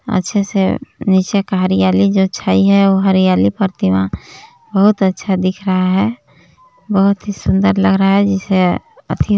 अच्छे से नीचे का हरयाली जो छायी है वो हरियाली प्रतिमा बहुत अच्छा दिख रहा है बहुत ही सुंदर लग रहा है जैसे अथि--